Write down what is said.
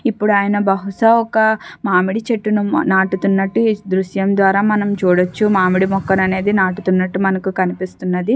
ఇప్పుడు అయన బహుశా ఒక మామిడి చెట్టును నాటుతున్నటు ఈ దృశ్యం ద్వారా మనం చూడొచ్చు మామిడి మొక్కను అనేది నాటుతున్నటు మనకు కనిపిస్తున్నది.